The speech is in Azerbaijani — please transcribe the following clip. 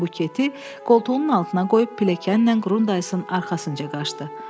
Buketi qoltuğunun altına qoyub, pilləkənlə Qrundaysın arxasınca qaçdı.